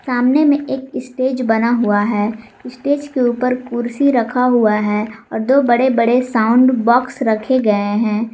सामने में एक स्टेज बना हुआ हैं स्टेज के ऊपर कुर्सी रखा हुआ है और दो बड़े बड़े साउंड बॉक्स रखे गए है।